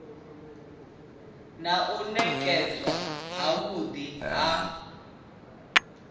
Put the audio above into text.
na u nekedzwa havhui ha